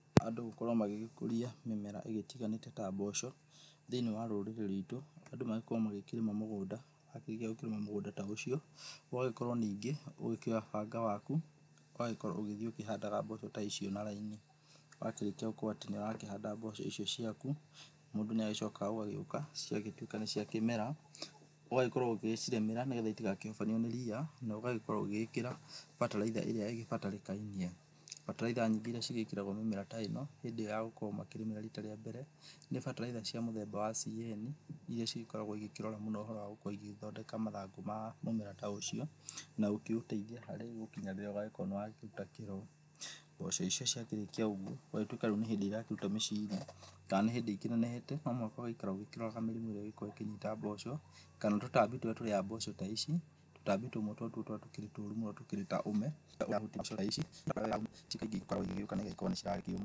Andũ gũkorwo magĩgĩkũria mĩmera ĩrĩa ĩtiganĩte ta mboco, thĩ-inĩ wa rũrĩrĩ rwitũ, andũ magĩkorwo makĩrĩma mũgũnda, rĩrĩa ũgũkorwo ũkĩrĩma mũgũnda ta ũcio, ũgagĩkora ningĩ ũgĩkíoya banga waku, ũgagĩkorwo ũgĩthiĩ ũkĩhandaga mboco ta icio na raini, wakĩrĩkia gũkorwo atĩ nĩwakĩhanda mboco icio ciaku, mũndũ nĩagĩcokaga ũgagĩũka, ciagĩtwĩka nĩ cia kĩmera, ũgagĩkorwo ũgĩcirĩmĩra, nĩgetha itikahobanĩrio nĩ ria, no ũgagĩkorwo ũgĩkíra bataraitha ĩrĩa ĩgĩbatarĩkainie, bataraitha nyingĩ nĩcigĩkĩragwo mĩmera ta ĩno, hĩndĩ ĩyo yagũkorwo makĩrĩmĩra rita rĩa mbere, nĩ bataritha cia mĩthemba ya CAN iria cigĩkoragwo cikĩrora mũno gũkorwo igĩthondeka mathangú ma mũmera ta ũcio, na gũkĩũteithia harĩa ũgũkinyanĩra ũgagĩkorwo nĩwaruta kĩro, mboco icio ciarĩkia ũguo, ũgatwĩka rĩu nĩ hĩndĩ iraruta mĩciri, ka nĩ híndĩ ikĩnenehete ko nogũikara ũkĩroraga mĩrimũ ĩrĩa ĩngĩkorwo íkĩnyita mboco, kana tũtambi tũrĩa tũrĩaga mboco ta ici, tũtambi tũu nĩtuo tũko tũrĩ tũru tũkĩrĩa irio ta ici